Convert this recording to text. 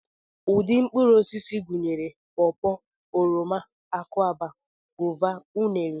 Ụdị mkpụrụosisi gụnyere pọpọ, oroma, akwụaba, gova, unere